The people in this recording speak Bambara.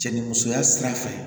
Cɛ ni musoya sira fɛ